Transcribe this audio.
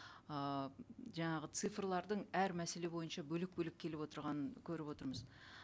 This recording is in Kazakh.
ыыы жаңағы цифрлардың әр мәселе бойынша бөлек бөлек келіп отырғанын көріп отырмыз